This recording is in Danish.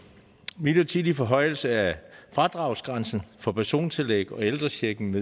midlertidig forhøjelse af fradragsgrænsen for persontillæg og ældrechecken